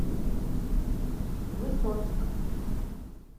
высоцк